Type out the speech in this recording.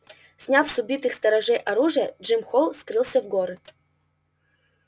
сняв с убитых сторожей оружие джим холл скрылся в горы